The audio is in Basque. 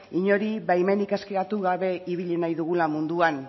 inori baimenik eskatu gabe ibili nahi dugula munduan